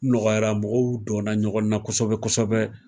Nɔgɔyara mɔgɔw donna ɲɔgɔn na kosɛbɛ kosɛbɛ